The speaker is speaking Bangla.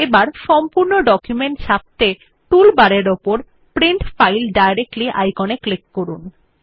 এখন সম্পূর্ণ ডকুমেন্ট ছাপত়ে টুল বারের উপর প্রিন্ট ফাইল ডাইরেক্টলি আইকনে ক্লিক করুন